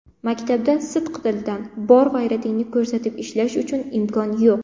Maktabda sidqidildan, bor g‘ayratingni ko‘rsatib ishlash uchun imkon yo‘q.